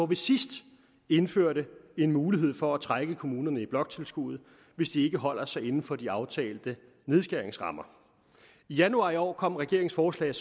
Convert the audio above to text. vi sidst indførte en mulighed for at trække kommunerne i bloktilskuddet hvis de ikke holder sig inden for de aftalte nedskæringsrammer i januar i år kom regeringens forslag